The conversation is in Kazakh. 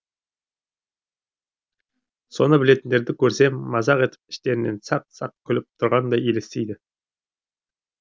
соны білетіндерді көрсем мазақ етіп іштерінен сақ сақ күліп тұрғандай елестейді